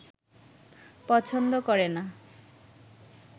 পছন্দ করে না